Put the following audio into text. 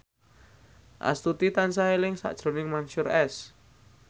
Astuti tansah eling sakjroning Mansyur S